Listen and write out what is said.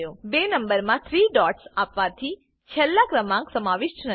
બે નંબરમા 3 ડોટ્સ આપવાથી છેલ્લો ક્રમાંક સમાવિષ્ટ નથી